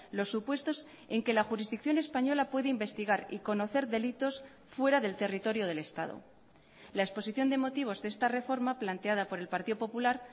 los supuestos en que la jurisdicción española puede investigar y conocer delitos fuera del territorio del estado la exposición de motivos de esta reforma planteada por el partido popular